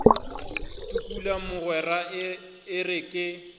tukula mogwera e re ke